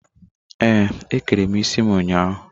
Ee, ékẹrè mụ isi m ụnyahụ.